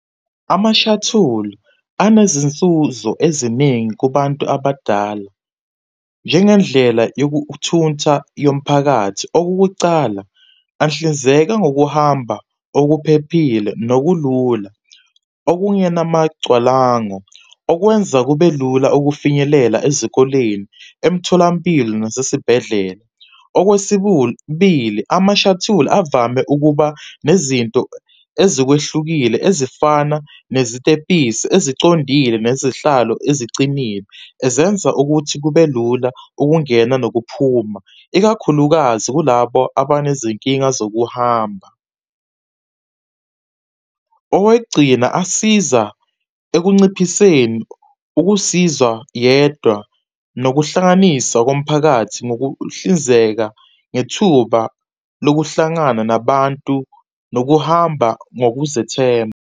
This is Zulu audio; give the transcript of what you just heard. Amashathuli anezinsuzo eziningi kubantu abadala, njengendlela yokuthuntha yomphakathi. Okokucala, anhlinzeka ngokuhamba okuphephile nokulula okungenamagcwalango, okwenza kubelula ukufinyelela ezikoleni, emitholampilo nasesibhedlela. , amashathuli avame ukuba nezinto ezikwehlukile ezifana nezitebhisi esicondile nezihlalo ezicinile, ezenza ukuthi kubelula ukungena nokuphuma, ikakhulukazi kulabo abanezinkinga zokuhamba. Owegcina, asiza ekunciphiseni ukusizwa yedwa nokuhlanganisa komphakathi ngokuhlinzeka ngethuba lokuhlangana nabantu nokuhamba ngokuzethemba.